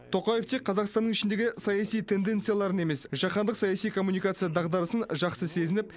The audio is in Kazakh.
тоқаев тек қазақстанның ішіндегі саяси тенденцияларын емес жаһандық саяси коммуникация дағдарысын жақсы сезініп